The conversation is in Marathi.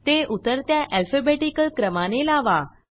ते उतरत्या alphabeticalक्रमाने लावा